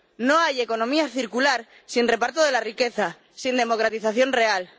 No hay economía circular sin reparto de la riqueza, sin democratización real.